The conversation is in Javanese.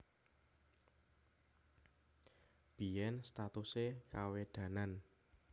Biyèn statusé Kawedanan